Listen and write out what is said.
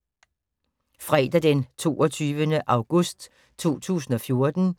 Fredag d. 22. august 2014